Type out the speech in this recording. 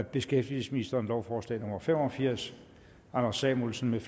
beskæftigelsesministeren lovforslag nummer l fem og firs anders samuelsen